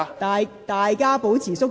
請大家保持肅靜。